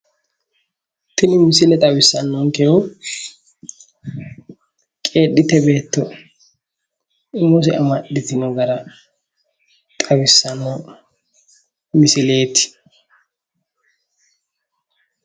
tini misile xawissannonkehu qeedhitte beetto umose amaxxitino gara xawissanno misileeti.